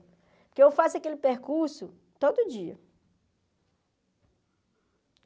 Porque eu faço aquele percurso todo dia.